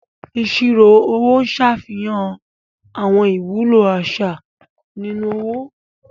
Ìṣirò owó Ń ṣàfihàn àwọn ìwúlò àṣà nínú owó.